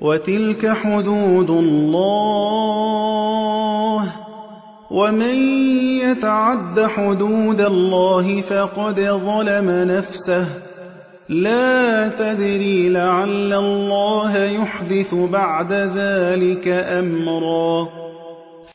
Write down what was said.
وَتِلْكَ حُدُودُ اللَّهِ ۚ وَمَن يَتَعَدَّ حُدُودَ اللَّهِ فَقَدْ ظَلَمَ نَفْسَهُ ۚ لَا تَدْرِي لَعَلَّ اللَّهَ يُحْدِثُ بَعْدَ ذَٰلِكَ أَمْرًا